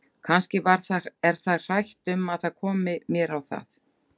Kannski er það hrætt um að það komi mér á það!